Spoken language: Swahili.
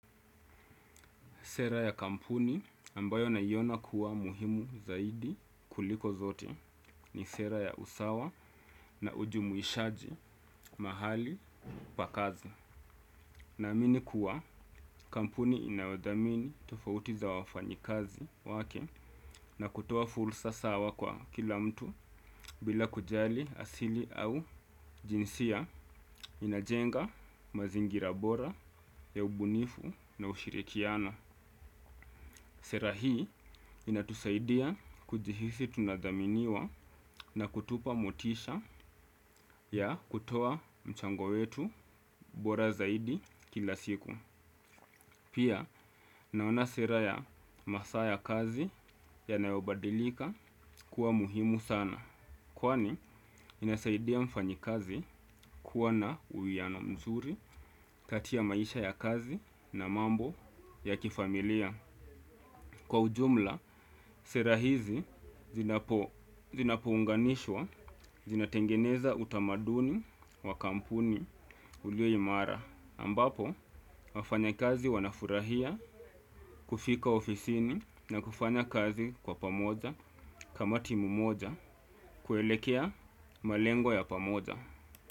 Sera ya kampuni ambayo naiona kuwa muhimu zaidi kuliko zote ni sera ya usawa na ujumuishaji mahali pakazi. Na amini kuwa kampuni inawadamini tofauti za wafanyi kazi wake na kutowa fulsa sawa kwa kila mtu bila kujali asili au jinsia inajenga mazingira bora ya ubunifu na ushirikiana. Sera hii inatusaidia kujihisi tunadaminiwa na kutupa motisha ya kutoa mchango wetu bora zaidi kila siku. Pia, naona sera ya masa ya kazi yanayobadilika kuwa muhimu sana. Kwani, inasaidia mfanyi kazi kuwa na uwiano mzuri katia maisha ya kazi na mambo ya kifamilia. Kwa ujumla, sera hizi zinapounganishwa, zinatengeneza utamaduni wa kampuni ulio imara. Ambapo, wafanya kazi wanafurahia kufika ofisini na kufanya kazi kwa pamoja kama timu moja kuelekea malengo ya pamoja.